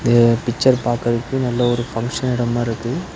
இது பிச்சர் பாக்கறதுக்கு நல்ல ஒரு ஃபங்சன் எடம் மாறிருக்கு .